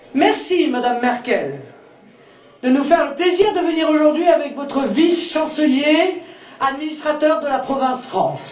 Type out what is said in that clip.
Merci Madame Merkel de nous faire le plaisir de venir aujourd'hui avec votre vice chancelier, administrateur de la province France.